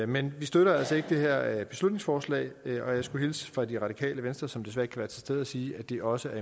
men vi støtter altså ikke det her beslutningsforslag og jeg skulle hilse fra det radikale venstre som desværre ikke være til stede og sige at de også